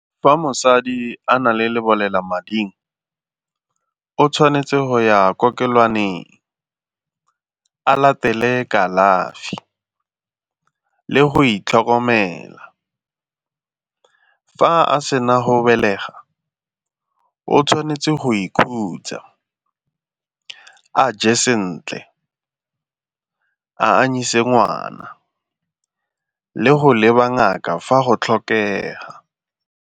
Fa mosadi a na le lebolelamading o tshwanetse go ya kokelowaneng, a latele kalafi le go itlhokomela. Fa a sena go belega o tshwanetse go ikhutsa, a je sentle, a anyise ngwana le go leba ngaka fa go tlhokega.